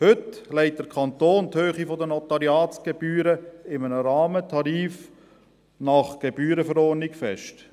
Heute legt der Kanton die Höhe der Notariatsgebühren in einem Rahmentarif nach Gebührenverordnung fest.